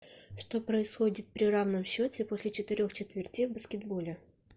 что происходит при равном счете после четырех четвертей в баскетболе